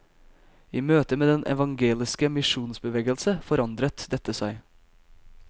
I møte med den evangeliske misjonsbevegelse forandret dette seg.